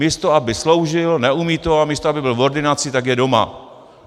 Místo aby sloužil, neumí to, a místo aby byl v ordinaci, tak je doma.